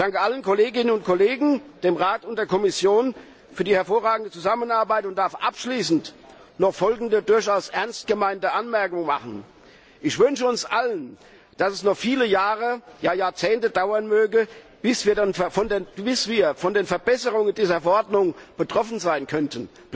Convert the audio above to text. Ich danke allen Kolleginnen und Kollegen, dem Rat und der Kommission für die hervorragende Zusammenarbeit und darf abschließend noch folgende durchaus ernst gemeinte Anmerkung machen Ich wünsche uns allen, dass es noch viele Jahre, ja Jahrzehnte dauern möge, bis wir von den Verbesserungen dieser Verordnung betroffen sein könnten.